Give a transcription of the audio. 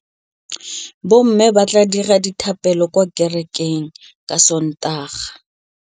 Bommê ba tla dira dithapêlô kwa kerekeng ka Sontaga.